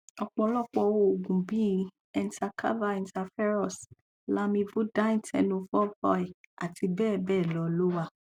ọpọlọpọ òògùn bí i entecavir interferons lamivudine tenofovir àti bẹẹ bẹẹ lọ ló wà